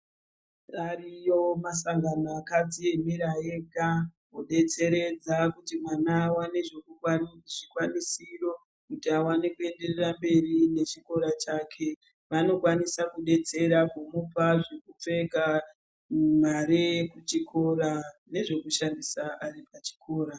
Ariyo masangano akadziemera ega kubetseredza kuti mwana aone zvikwanisiro kuti aone kuenderera mberi nechikora chake. Vanokwanisa kubetsera kumupa zvekupfeka mare yekuchikora nezvekushandisa ari pachikora.